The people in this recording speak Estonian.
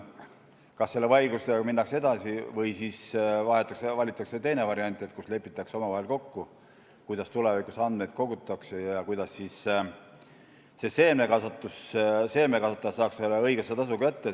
Selle vaidlusega kas minnakse edasi või valitakse teine variant, st lepitakse omavahel kokku, kuidas tulevikus andmeid kogutakse ja kuidas seemnekasvatajad saaksid õiglase tasu kätte.